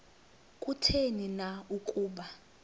kutheni na ukuba